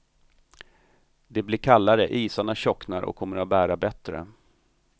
Det blir kallare, isarna tjocknar och kommer att bära bättre.